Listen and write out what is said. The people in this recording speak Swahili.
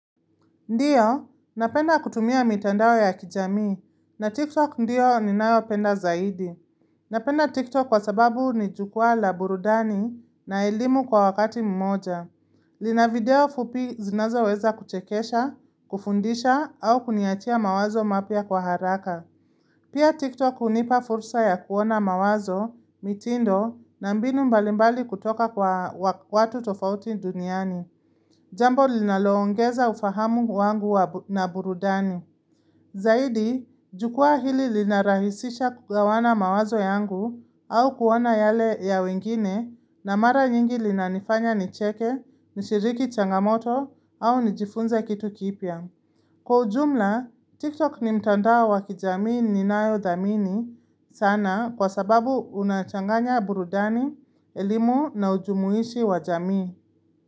Ndiyo, napenda kutumia mitandao ya kijamii, na TikTok ndiyo ni nayo penda zaidi. Napenda TikTok kwa sababu ni jukwaa la burudani na elimu kwa wakati mmoja. Lina video fupi zinazo weza kuchekesha, kufundisha au kuniachia mawazo mapya kwa haraka. Pia TikTok unipa fursa ya kuona mawazo, mitindo, na mbinu mbalimbali kutoka kwa watu tofauti duniani. Jambo linaloongeza ufahamu wangu na burudani. Zaidi, jukwaaa hili linarahisisha kugawana mawazo yangu au kuwa na yale ya wengine na mara nyingi lina nifanya nicheke, nishiriki changamoto au nijifunze kitu kipya. Kwa ujumla, TikTok ni mtandao wa kijamii ni nayo thamini sana kwa sababu unachanganya burudani, elimu na ujumuishi wa jamii.